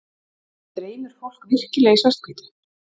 Dreymir fólk virkilega í svart-hvítu?